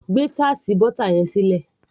gbé butter tart yẹn sílẹ̀